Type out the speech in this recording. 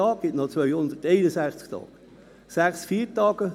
es verbleiben 261 Tage.